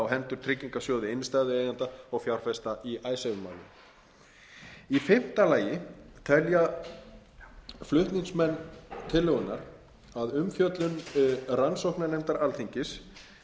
á hendur tryggingarsjóði innstæðueigenda og fjárfesta í icesave málinu í fimmta lagi telja flutningsmenn tillögunnar að umfjöllun rannsóknarnefndar alþingis